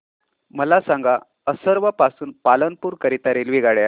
मला सांगा असरवा पासून पालनपुर करीता रेल्वेगाड्या